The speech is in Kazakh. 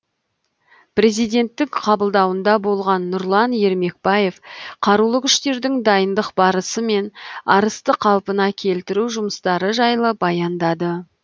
президенттің қабылдауында болған нұрлан ермекбаев қарулы күштердің дайындық барысы мен арысты қалпына келтіру жұмыстары жайлы баяндады